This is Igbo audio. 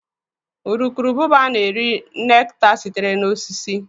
Butterflies na-eri nectar sitere na osisi.